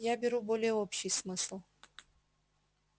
я беру более общий смысл